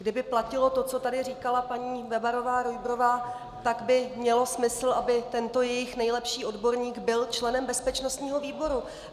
Kdyby platilo to, co tady říkala paní Bebarová-Rujbrová, tak by mělo smysl, aby tento jejich nejlepší odborník byl členem bezpečnostního výboru.